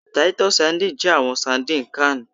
Titus sardines jẹ awọn sardines canned